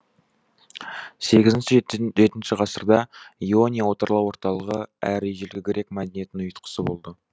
сегізінші жетінші ғасырда иония отарлау орталығы әрі ежелгі грек мәдениетінің ұйытқысы болды